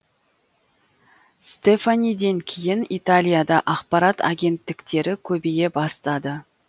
стефаниден кейін италияда ақпарат агенттіктері көбейе бастады